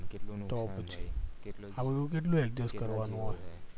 કેટલું કેટલું